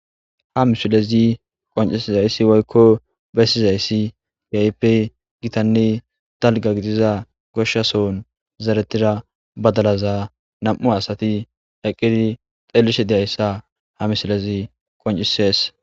ha misilezi qoncisizayssi woykko bessizayssi yaype gitanne talga gidiza goshshason zaretida badalaza nam7u asati eqqidi xeelishe diyayssa ha misilezi qoncises